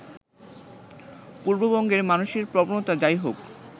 পূর্ববঙ্গের মানুষের প্রবণতা যাই হোক